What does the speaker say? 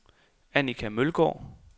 Annika Mølgaard